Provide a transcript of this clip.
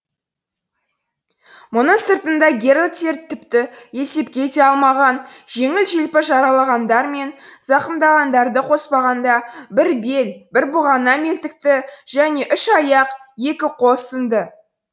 мұның сыртында герольдтер тіпті есепке де алмаған жеңіл желпі жараланғандар мен зақымданғандарды қоспағанда бір бел бір бұғана мертікті және үш аяқ екі қол сынды